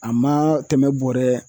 A ma tɛmɛ bɔrɛ